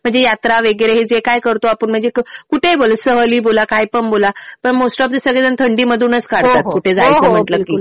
म्हणजे यात्रा वगैरे हे जे काय करतो आपण म्हणजे कुठे हि बोला सहली बोला, काय पण बोला. पण मोस्ट ऑफ द सगळे जणं थंडीमधूनच काढतात. कुठे जायचं म्हणलं कि.